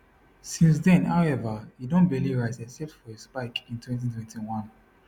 since den howeva e don barely rise except for a spike in 2021